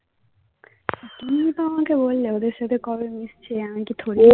তুমিই তো আমাকে বললে ওদের সাথে কবে মিশছি আমি কি